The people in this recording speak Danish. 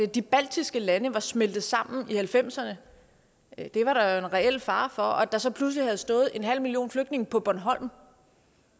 de baltiske lande var smeltet sammen i nitten halvfemserne det var der jo en reel fare for og der så pludselig havde stået en halv million flygtninge på bornholm